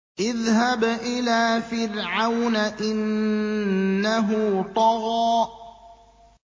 اذْهَبْ إِلَىٰ فِرْعَوْنَ إِنَّهُ طَغَىٰ